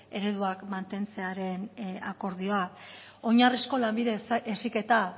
ereduak mantentzearen akordioa oinarrizko lanbide heziketa